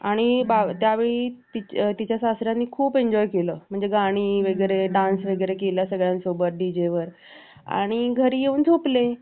आणि त्यावेळी तिच्या सासर् याने खूप enjoy केलं म्हणजे गाणी वगैरे dance वगैरे केला सगळ्यांसोबत DJ आणि घरी येऊन झोपले